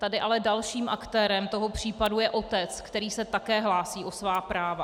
Tady ale dalším aktérem toho případu je otec, který se také hlásí o svá práva.